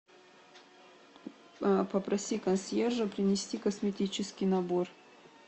попроси консьержа принести косметический набор